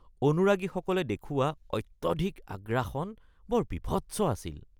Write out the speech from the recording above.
অনুৰাগীসকলে দেখুওৱা অত্যধিক আগ্ৰাসন বৰ বীভৎস আছিল